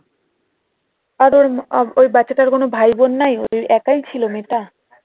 আর ওই বাছা তার কোনো ভাইবোন নাই একই ছিল মেয়েটা?